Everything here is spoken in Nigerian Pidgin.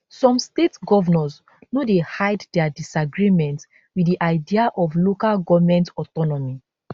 some state govnors no dey hide dia disagreement wit di idea of local goment autonomy